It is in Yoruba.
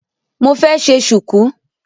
Mo fẹ́ ṣe Ṣùkú